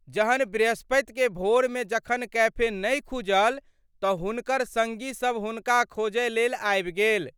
जहन बृहस्पति के भोर मे जखन कैफे नहि खुजल त' हुनकर संगी सब हुनका खोजय लेल आबि गेल।